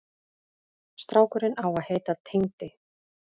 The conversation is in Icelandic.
Strákurinn á að heita Tengdi.